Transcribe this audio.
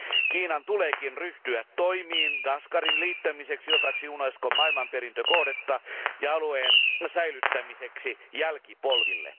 Kiinan tuleekin ryhtyä toimiin Kashgarin liittämiseksi osaksi Unescon maailmanperintökohdetta ja alueen säilyttämiseksi jälkipolville.